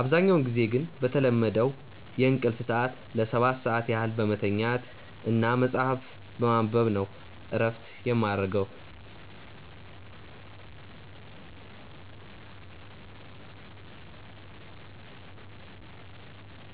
አብዛኛውን ጊዜ ግን በተለመደው የእንቅልፍ ሰዐት ለ7 ሰዓት ያህል በመተኛት እና መጽሀፍ በማንበብ ነው እረፍት የማረገው።